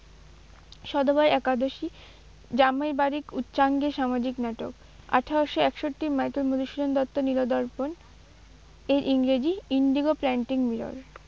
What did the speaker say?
সধবার একাদশী জামইবাড়ির উচ্চাঙ্গের সামাজিক নাটক। আঠেরোশো একষট্টির মাইকেল মধুসূদন দত্ত নীলদর্পণ, এর ইংরেজি Indigo planting mirror